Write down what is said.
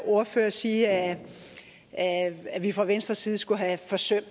ordfører sige at at vi fra venstres side skulle have forsømt